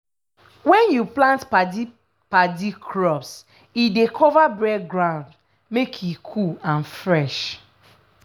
when you plant padi-padi crops e dey cover bare ground make e cool and fresh.